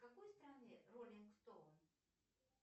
в какой стране ролинг стоун